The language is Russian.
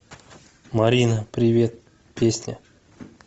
марина привет песня